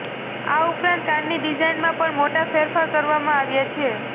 આ ઉપરાંત કારની ડિઝાઈનમાં પણ મોટા ફેરફાર કરવામાં આવ્યા છે